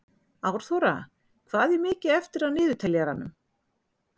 Árþóra, hvað er mikið eftir af niðurteljaranum?